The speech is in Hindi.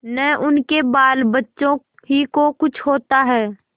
न उनके बालबच्चों ही को कुछ होता है